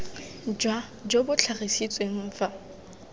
jwa jo bo tlhagisitsweng fa